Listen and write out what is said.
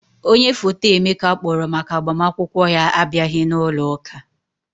Onye foto Emeka kpọrọ maka agbamakwụkwọ ya abịaghị n'ụloụka.